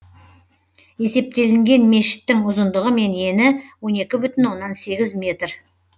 есептелінген мешіттің ұзындығы мен ені он екі бүтін оннан сегіз метр